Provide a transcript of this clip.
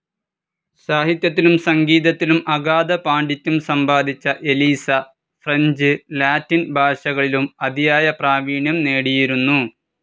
സാഹിത്യത്തിലും, സംഗീതത്തിലും അഗാധ പാണ്ഡിത്യം സമ്പാദിച്ച എലീസ, ഫ്രഞ്ച്, ലാറ്റിൻ ഭാഷകളിലും അതിയായ പ്രാവീണ്യം നേടിയിരുന്നു.